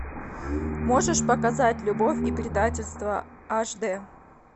можешь показать любовь и предательство аш д